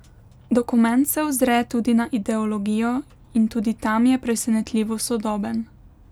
Dokument se ozre tudi na ideologijo in tudi tam je presenetljivo sodoben.